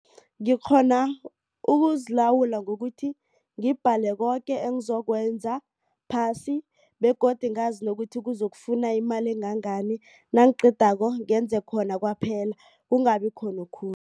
Ngikghona ukuzilawula ngokuthi ngibhale koke engizokwenza phasi begodu ngazi nokuthi kuzokufuna imali engangani nangiqedako ngenze khona kwaphela kungabi khona okhunye.